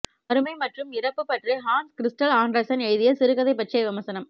வறுமை மற்றும் இறப்பு பற்றி ஹான்ஸ் கிரிஸ்டல் ஆண்டர்சன் எழுதிய சிறுகதை பற்றிய விமர்சனம்